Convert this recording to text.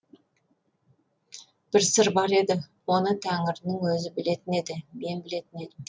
бір сыр бар еді оны тәңірінің өзі білетін еді мен білетін едім